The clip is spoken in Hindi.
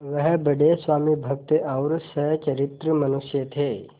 वह बड़े स्वामिभक्त और सच्चरित्र मनुष्य थे